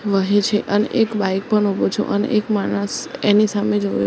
વહે છે અને એક બાઈક પણ ઉભો છું અને એક માણસ એની સામે જોવે--